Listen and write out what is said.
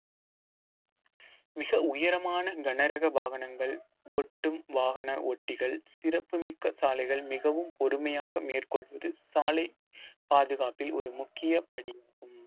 மிக உயரமான கனரக வாகனங்கள் ஒட்டும் வாகன ஓட்டிகள் சிறப்பு மிக்க சாலைகள் மிகவும் பொறுமையாக மேற்கொள்வது சாலை பாதுகாப்பில் ஒரு முக்கிய படி